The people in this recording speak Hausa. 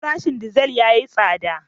Farashin dizal yayi tsada.